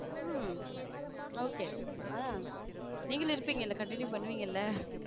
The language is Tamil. ஹம் okay ஆங் நீங்களும் இருப்பீங்கல continue பண்ணுவீங்கல்ல?